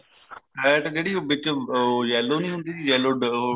fat ਜਿਹੜੀ ਵਿੱਚ ਉਹ yellow ਨਹੀਂ ਹੁੰਦੀ yellow ਉਹ